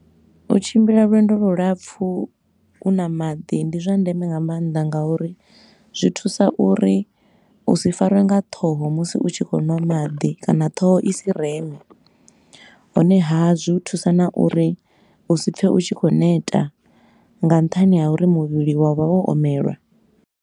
U tshimbila lwendo lu lapfu u na maḓi, ndi zwa ndeme nga mannḓa nga uri zwi thusa uri u si farwe nga ṱhoho musi u tshi khou ṅwa maḓi kana ṱhoho i si reme. Honeha, zwi u thusa na uri u si pfe u tshi khou neta nga nṱhani ha uri muvhili wa vha wo omelwa.